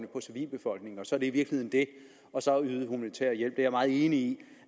på civilbefolkningen og så er det i virkeligheden det og så at yde humanitær hjælp det er jeg meget enig